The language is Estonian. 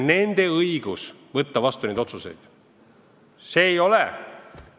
Nende otsuste vastuvõtmine on nende õigus.